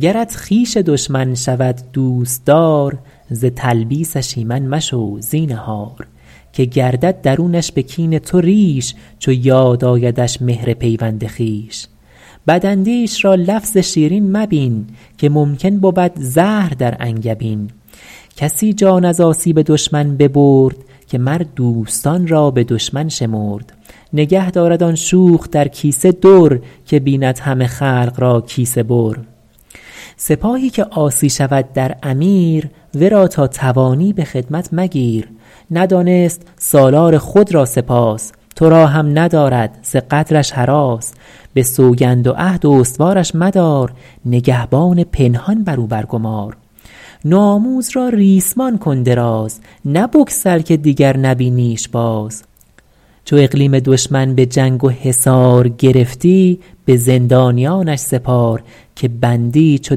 گرت خویش دشمن شود دوستدار ز تلبیسش ایمن مشو زینهار که گردد درونش به کین تو ریش چو یاد آیدش مهر پیوند خویش بد اندیش را لفظ شیرین مبین که ممکن بود زهر در انگبین کسی جان از آسیب دشمن ببرد که مر دوستان را به دشمن شمرد نگه دارد آن شوخ در کیسه در که بیند همه خلق را کیسه بر سپاهی که عاصی شود در امیر ورا تا توانی به خدمت مگیر ندانست سالار خود را سپاس تو را هم ندارد ز غدرش هراس به سوگند و عهد استوارش مدار نگهبان پنهان بر او بر گمار نو آموز را ریسمان کن دراز نه بگسل که دیگر نبینیش باز چو اقلیم دشمن به جنگ و حصار گرفتی به زندانیانش سپار که بندی چو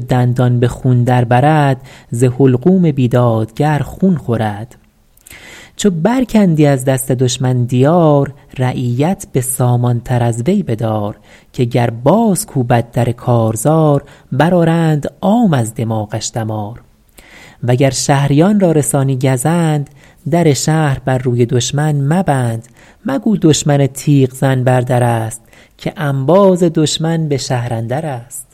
دندان به خون در برد ز حلقوم بیدادگر خون خورد چو بر کندی از دست دشمن دیار رعیت به سامان تر از وی بدار که گر باز کوبد در کارزار بر آرند عام از دماغش دمار وگر شهریان را رسانی گزند در شهر بر روی دشمن مبند مگو دشمن تیغ زن بر در است که انباز دشمن به شهر اندر است